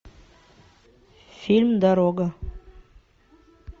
фильм дорога